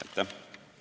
Aitäh!